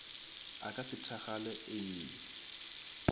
a ka se thakgale ee